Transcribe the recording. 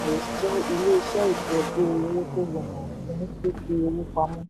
ilé iṣẹ́ ìtọ́jú owó tó rọrùn fún fífi owó pamọ́.